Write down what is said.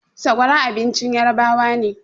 Sakwara abincin yarabawa ne